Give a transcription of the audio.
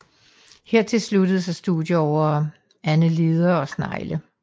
Hertil sluttede sig studier over annelider og snegle